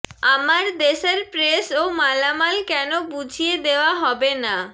আমার দেশের প্রেস ও মালামাল কেন বুঝিয়ে দেয়া হবে না